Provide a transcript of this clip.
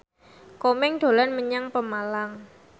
Komeng dolan menyang Pemalang